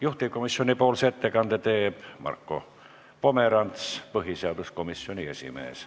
Juhtivkomisjoni ettekande teeb Marko Pomerants, põhiseaduskomisjoni esimees.